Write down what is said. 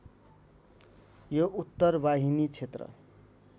यो उत्तरवाहिनी क्षेत्र